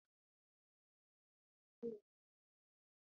Koyi daga wasu, gwada sabbin kayan aiki, da sake gano farin cikin kerawa.